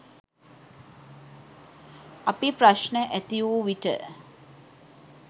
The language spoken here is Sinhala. අපි ප්‍රශ්න ඇති වූ විට